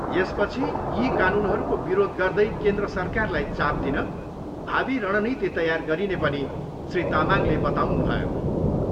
यसपछि यी कानुनहरूको विरोध गर्दै केन्द्र सरकारलाई चाप दिन भावि रणनीति तैयार गरिने पनि श्री तामाङले बताउनुभयो।